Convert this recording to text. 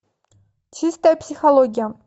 чистая психология